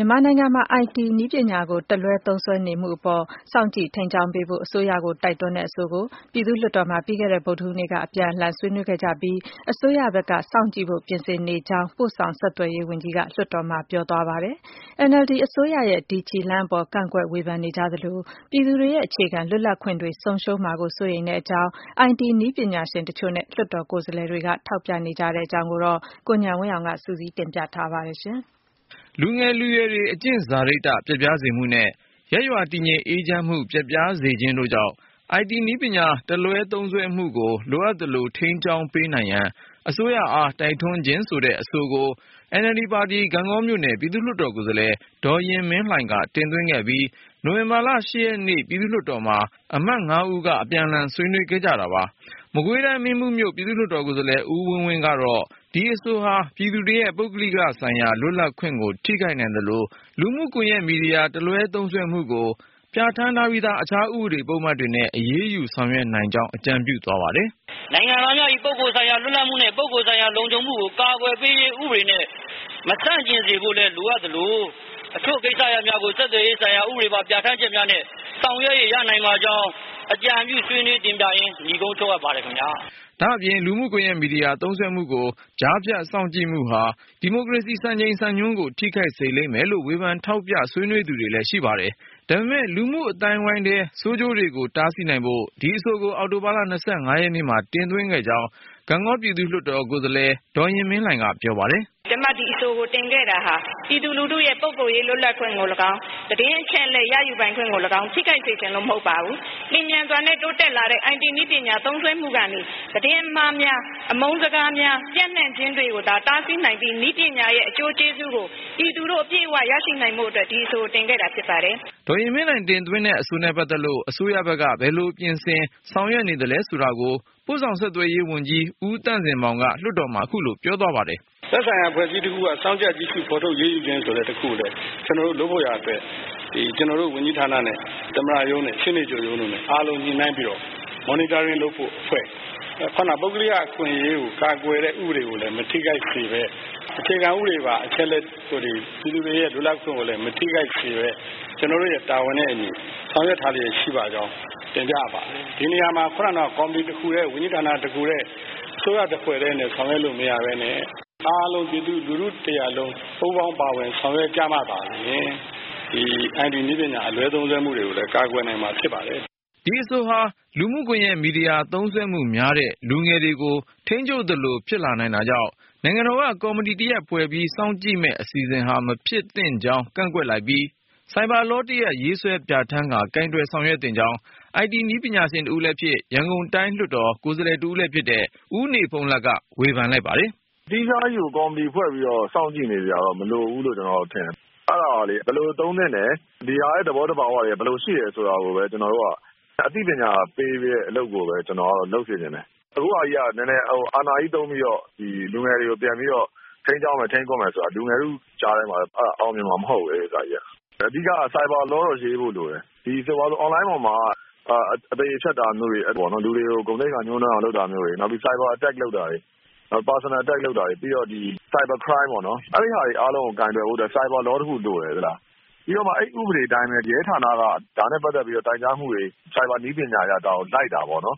မြန်မာနိုင်ငံမှာ I.T နည်းပညာကို တလွဲ သုံးစွဲနေမှုအပေါ် စောင့်ကြည့်ထိန်းကြောင်းပေးဖို့ အစိုးရကို တိုက်တွန်းတဲ့အဆိုကို ပြည်သူ့လွှတ်တော် မှာ ပြီးခဲ့တဲ့ ဗုဒ္ဓဟူးနေ့က အပြန်အလှန်ဆွေးနွေးခဲ့ကြပြီး အစိုးရဘက်က စောင့်ကြည့်ဖို့ ပြင်ဆင်နေကြောင်း ပု့ိဆောင်ဆက်သွယ်ရေးဝန်ကြီးက လွှတ်တော်မှာ ပြောဆိုသွားပါတယ်။ NLD အစိုးရရဲ့ ဒီခြေလှမ်းအပေါ် ကန့်ကွက်ဝေဖန်နေကြသလို၊ ပြည်သူတွေရဲ့ အခြေခံလွတ်လပ်ခွင့်တွေ ဆုံးရှုံးမှာကို စိုးရိမ်မိကြောင်း I.T နည်းပညာရှင်တချို့နဲ့ လွှတ်တော်ကိုယ်စားလှယ်တွေက ထောက်ပြလိုက်ကြပါတယ်။ အသေးစိတ်ကိုတော့ ကိုဉာဏ်ဝင်းအောင်က စုစည်း တင်ပြထားပါတယ်။ လူငယ်လူရွယ်တွေ အကျင့်စာရိတ္တ ပျက်ပြားစေမှုနဲ့ ရပ်ရွာတည်ငြိမ်အေးချမ်းမှု ပျက်ပြားစေခြင်းတို့ကြောင့် I.T နည်းပညာ တလွဲ သုံးစွဲမှုကို လိုအပ်သလို ထိန်းကြောင်းပေးနိုင်ရန် အစိုးရအားတိုက်တွန်းခြင်း ဆိုတဲ့အဆိုကို NLD ပါတီ ဂန့်ဂေါမြို့နယ် ပြည်သူ့လွှတ်တော်ကိုယ်စားလှယ် ဒေါ်ယဉ်မင်းလှိုင်က တင်သွင်းခဲ့ပြီး နိုဝင်ဘာလ ရက်နေ့ ပြည့်သူ့လွှတ်တော်မှာ အမတ် ဦးက အပြန်အလှန်ဆွေးနွေး ခဲ့တာပါ။ မကွေးတိုင်း မင်းဘူးမြို့ ပြည်သူ့လွှတ်တော်ကိုယ်စားလှယ် ဦးဝင်းဝင်းကတော့ ဒီအဆိုဟာ ပြည်သူတွေရဲ့ ပုဂ္ဂလိကဆိုင်ရာ လွတ်လပ်ခွင့်ကို ထိခိုက်နိုင်သလို၊ လူမှုကွန်ယက်မီဒီယာ တလွဲသုံးစွဲမှုကို ပြဌာန်းထားပြီးသား အခြားဥပဒေပုဒ်မတွေနဲ့ အရေး ယူဆောင်ရွက်နိုင်ကြောင်း အကြံပြုသွားပါတယ်။ " နိုင်ငံသားများ၏ပုဂ္ဂိုလ်ဆိုင်ရာ လွတ်လပ်မှုနှင့် ပုဂ္ဂိုလ်ဆိုင်ရာလုံခြုံမှုကို အကာအကွယ်ပေးရေး ဥပဒေနဲ့မဆန့်ကျင်စေဖို့လည်း လိုအပ်သလို အချို့ကိစ္စရပ်များကို ဆက်သွယ်ရေးဥပဒေပါ ပြဋ္ဌာန်းချက်များနဲ့ ဆောင်ရွက်လို့ရနိုင်ပါကြောင်း အကြံပြုဆွေးနွေး တင်ပြရင်း နိဂုံးချုပ်အပ်ပါတယ်ခင်ဗျား။" ဒါ့ပြင် လူမှုကွန်ယက်မီဒီယာ သုံးစွဲမှုကို ကြားဖြတ်စောင့်ကြည့်မှုဟာ ဒီမိုကရေစီ စံချိန်စံညွှန်းကို ထိခိုက်စေလိမ့်မယ်လို့ ဝေဖန်ထောက်ပြ ဆွေးနွေးသူလည်းရှိပါတယ်။ ဒါပေမဲ့ လူမှုအသိုင်းအဝိုင်းထဲ ဆိုးကျိုးတွေကို တားဆီးနိုင်ဖို့ ဒီအဆိုကို အောက်တိုဘာ ရက်နေ့မှာ တင်သွင်းခဲ့ကြောင်း ဂန့်ဂေါပြည်သူ့လွှတ်တော် ကိုယ်စားလှယ် ဒေါ်ယဉ်မင်းလှိုင်က ပြောပါတယ်။ " ကျမ ဒီအဆိုကို တင်ခဲ့တာဟာ ပြည်သူလူထုရဲ့ ပုဂ္ဂိုလ်ရေး လွတ်လပ်ခွင့်ကိုလည်းကောင်း သတင်းအချက်အလက်ရယူပိုင်ခွင့်ကိုလည်းကောင်း ထိခိုက်စေချင်လို့မဟုတ်ပါဘူး။ လျှင်မြန်စွာနဲ့ တိုးတက်လာတဲ့ အိုင်တီနည်းပညာ သုံးစွဲမှုကနေ သတင်းအမှားများ အမုန်းစကားများ ပျံ့နှံ့ခြင်းတွေကို သာ တားဆီးနိုင်သည့် နည်းပညာရဲ့ အကျိုးကျေးဇူးကို ပြည်သူတို့အပြည့်အဝရရှိစေဖို့အတွက် ဒီအဆိုကို တင်ခဲ့တာဖြစ်ပါတယ်။" ဒေါ်ယဉ်မင်းလှိုင် တင်သွင်းတဲ့အဆိုနဲ့ပတ်သက်လို့ အစိုးရဘက် ဘယ်လို ပြင်ဆင်ဆောင်ရွက် နေသလဲဆိုတာကိုတော့ ပု့ိဆောင်ဆက်သွယ်ရေး ဝန်ကြီး ဦးသန့်စင်မောင်က လွှတ်တော်မှာ ခုလို ပြောဆိုသွားပါတယ်။ "သက်ဆိုင်ရာအဖွဲ့အစည်းတခုက စောင့်ကြပ်ကြည့်ရှု့ဖော်ထုတ်အရေးယူခြင်း ဆိုတဲ့ တခုကို ကျနော်တို့ လုပ်ဖို့ရာအတွက် ကျနော်တို့ ဝန်ကြီးဌာနနဲ့ သမ္မတရုံးနဲ့ ရှေ့နေချုပ်ရုံး တို့နဲ့ အားလုံးညှိနှိုင်းပြီးတော့ Monitoring လုပ်ဖို့အဖွဲ့ ခုနက ပုဂ္ဂိုလိကအခွင့်အရေးကို ကာကွယ်တဲ့ဥပဒေကိုလည်း မထိခိုက်စေပဲ အခြေခံဥပဒေပါ အချက်အလက်တွေ ပြည်သူတွေရဲ့လွတ်လပ်ခွင့်ကိုလည်း မထိခိုက်စေပဲ ကျနော်တို့ရဲ့တာဝန်နဲ့အညီ ဆောင်ရွက်ထားလျက်ရှိပါကြောင်း တင်ပြအပ်ပါတယ်။ ဒီနေရာမှာ ခုနကတုန်းက ကော်မတီတခုတည်း ဝန်ကြီးဌာနတခုတည်း အစိုးရတဖွဲ့တည်းနဲ့ ဆောင်ရွက်လို့မရပဲနဲ့ အားလုံးပြည်သူလူထုတရပ်လုံး ပူးပေါင်းပါဝင်ဆောင်ရွက်ကြမှာသာလျှင် အိုင်တီနည်းပညာအလွဲသုံးမှုတွေကိုလည်း ကာကွယ်နိုင်မှာဖြစ်ပါတယ်။" ဒီအဆိုဟာ လူမှုကွန်ယက်မီဒီယာ သုံးစွဲမှုများတဲ့ လူငယ်တွေကို ထိန်းချုပ်သလို ဖြစ်လာနိုင်တာကြောင့် နိုင်ငံတော်က ကော်မတီတရပ်ဖွဲ့ပြီး စောင့်ကြည့်မယ့် အစီအစဉ်ဟာ မဖြစ်သင့်ကြောင်း ကန့်ကွက်လိုက်ပြီး၊ Cyber Law တရပ်ရေးဆွဲ ပြဌာန်းကာ ကိုင်တွယ်ဆောင်ရွက်သင့်ကြောင်း I.T နည်းပညာရှင် တဦးလည်းဖြစ် ရန်ကုန်တိုင်းလွှတ်တော် ကိုယ်စားလှယ်လည်းဖြစ်တဲ့ ဦးနေဘုန်းလတ်က ဝေဖန်လိုက်ပါတယ်။ "သီးခြားကြီးကို ကော်မတီဖွဲ့ပြီးတော့ စောင့်ကြည့်နေစရာမလိုဘူးလို့ ကျနော်ထင်တယ်။ အဲ့တာကလေ ဘယ်လိုသုံးသင့်တယ် ဒီဟာရဲ့ သဘောသဘာဝတွေက ဘယ်လိုရှိတယ် ဆိုတာကိုပဲ ကျနော်တို့က အသိပညာပေးတဲ့အလုပ်ကိုပဲ ကျနော်ကတော့ လုပ်စေချင်တယ် အခုဟာက အာဏာကြီးကို သုံးပြီးတော့ လူငယ်တွေကို ပြန်ပြီးတော့ ထိန်းကျောင်းမယ် ထိန်းကွပ်မယ်ဆိုတာ လူငယ်ထုကြားထဲမှာ အောင်မြင်မှာမဟုတ်ဘူး။ အဓိက Cyber Law ကို ရေးဖို့လိုမယ် အွန်လိုင်းပေါ်မှာ အသရေဖျက်တာမျိုး လူတွေကို ဂုဏ်သိက္ခာ ညှိုးနွမ်းအောင် လုပ်တာမျိုး နောက်ပြီး Cyber Attack လုပ်တာမျိုးတွေ Personal attack လုပ်တာတွေ Cyber Crime ပေါ့နော် အဲ့တာအားလုံးကို ကိုင်တွယ်ဖို့က Cyber Law တခုလိုတယ်။ ပြီးတော့ အဲ့ဒီ့ဥပဒေအတိုင်းပဲ ရဲဌာနက ဒါနဲ့ပတ်သက်ပြီးတော့ တိုင်ကြားမှုတွေကို ဆိုင်ဘာနည်းပညာအရ လိုက်တာပေါ့နော်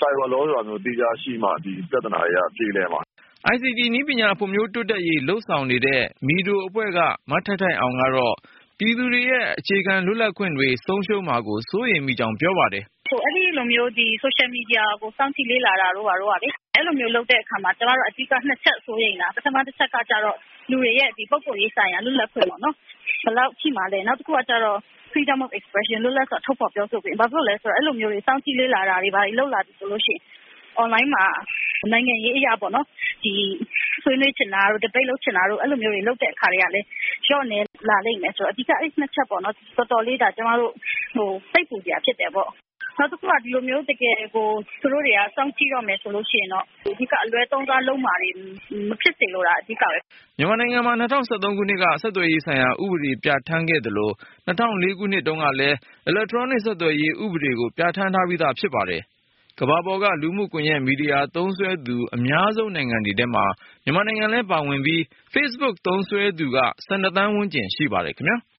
Cyber Law ဆိုပြီး သီးခြားရှိမှ ဒီပြဿနာတွေက ပြေလည်မှာ။" ICT နည်းပညာဖွံ့ဖြိုးတိုးတက်ရေး လုပ်ဆောင်နေတဲ့ (Myanmar ICT for Development Organization) MIDO အဖွဲ့က မထိုက်ထိုက်အောင် ကတော့ ပြည်သူတွေရဲ့ အခြေခံလွတ်လပ်ခွင့်တွေ ဆုံးရှုံးမှာကို စိုးရိမ်မိကြောင်း ပြောပါတယ်။ " အဲ့ဒီ့လိုမျိုး ဆိုရှယ်မီဒီယာကို စောင့်ကြည့်တာတို့ ဘာတို့ကလေ ကျမတို့ အဓိက နှစ်ချက်ကို စိုးရိမ်တာ။ ပထမတချက်ကတော့ လူတွေရဲ့ ပုဂ္ဂိိုလ်ရေးဆိုင်ရာ လွတ်လပ်ခွင့်ပေါ့နော် ဘယ်လောက်ရှိမှာလဲ။ နောက်တခုက Freedom of Expression ဘယ်လောက်အထိ လွတ်လပ်စွာ ထုတ်ဖော်ပြောဆိုခွင့်ရှိမှာလဲ။ အဲ့လိုမျိုး စောင့်ကြည့်လေ့လာတာတွေ လုပ်လာပြီဆိုလို့ရှိရင် အွန်လိုင်းမှာ နိုင်ငံရေးအရ ဆွေးနွေးချင်တာတို့ Debate ဒီဘိတ်လုပ်ဖို့ ဆွေးနွေးလို့ လုပ်ချင်တာတွေက လျော့နည်း လာလိမ့်မယ်ဆိုတော့ အဓိက အဲ့နှစ်ချက်ပေါ့နော် တော်တော်လေး စိတ်ပူစရာဖြစ်တယ်ပေါ့။ နောက်တခုက သူတို့ တကယ်ကို စောင့်ကြည့်တော့မယ် ဆိုလို့ရှိရင် အလွဲသုံးစားတာတွေ မဖြစ်စေလိုတာ အဓိကပဲ။" မြန်မာနိုင်ငံမှာ ၂၀၁၃ ခုနှစ်က ဆက်သွယ်ရေးဆိုင်ရာ ဥပဒေပြဌာန်းခဲ့သလို၊ ၂၀၀၄ ခုနှစ်တုန်းကလည်း အီလက်ထရွန်းနစ် ဆက်သွယ်ရေး ဥပဒေကိုပြဌာန်းထားပြီး ဖြစ်ပါတယ်။ ကမ္ဘာပေါ်က လူမှုကွန်ယက်မီဒီယာသုံးစွဲသူ အများဆုံးနိုင်ငံတွေထဲမှာ မြန်မာနိုင်ငံလဲပါဝင်ပြီး Facebook သုံးစွဲသူက သန်းဝန်းကျင် ရှိပါတယ်ခင်ဗျား။